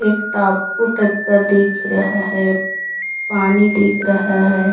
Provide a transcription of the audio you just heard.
एक टापू टाईप का दिख रहे है पानी दिख रहा है।